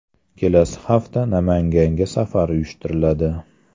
Kelasi hafta Namanganga safar uyushtiriladi.